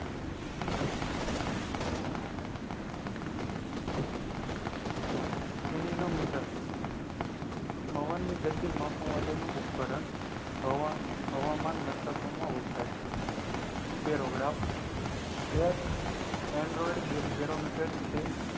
anemometer પવન ની ગતિ માપવા માટે નું ઉપકરણ હવામાન મથકોમાં વપરાય છે બેરોગ્રાફ એક android barometer છે